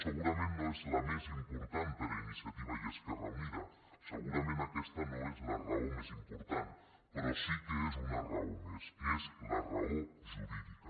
segurament no és la més important per a iniciativa i esquerra unida segurament aquesta no és la raó més important però sí que és una raó més és la raó jurídica